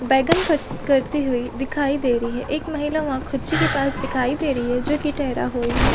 बैंगन कट करते हुई दिखाई दे रही है एक महिला वहाँ कूची के पास दिखाई दे रही है जो की टेहरा हुई है ।